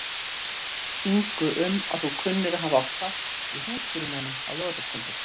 Komdu strax, segi ég, annars verð ég að skilja þig eftir hótaði hún.